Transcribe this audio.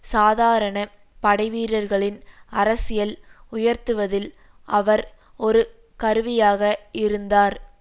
சாதாரண படைவீரர்களின் அரசியல் உயர்த்துவதில் அவர் ஒரு கருவியாக இருந்தார்